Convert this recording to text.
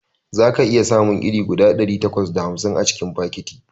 Zaka iya samun iri guda ɗari takwas da hamsin a cikin fakiti